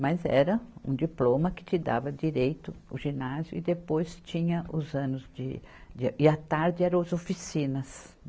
Mas era um diploma que te dava direito o ginásio e depois tinha os anos de, de, e a tarde eram as oficinas.